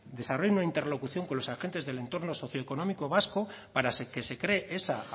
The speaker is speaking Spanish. desarrollen una interlocución con los agentes del entorno socioeconómico vasco para que se cree esa